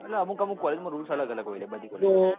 એટલે અમુક અમુક college માં rules અલગ અલગ હોય લ્યા બધી college માં